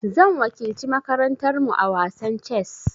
Zan wakilci makarantar mu a wasan chess.